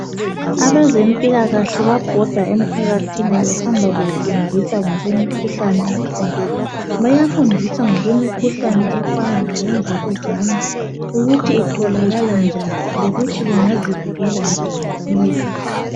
Abezempilakahle bayabhoda emphakathini behamba befundisa ngokwemikhuhlane ekhona. Bayafundisa ngokwemikhuhlane efana labo mvukuzane ukuthi itholakala njani lokuthi bangazivikela njani kiyo.